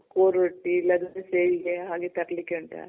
ಕೋರೊಟ್ಟಿ ಎಲ್ಲದಕ್ಕೂ ಸೇರಿದೆ ಹಾಗೆ ತರ್ಲಿಕ್ ಹೇಳ್ದೆ